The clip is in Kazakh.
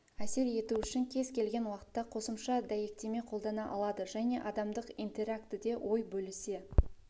әсер ету үшін кез келген уақытта қосымша дәйектеме қолдана алады және адамдық интерактіде ой бөлісе